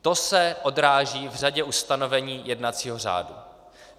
To se odráží v řadě ustanovení jednacího řádu.